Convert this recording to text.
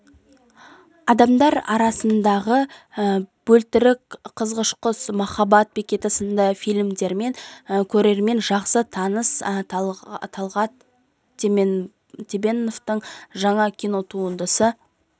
адамдар арасындағы бөлтірік қызғыш құс махаббат бекеті сынды фильмдерімен көрерменге жақсы таныс талгат теменовтың жаңа кинотуындысы